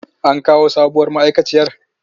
An kawo sabuwar ma'aikaciyar?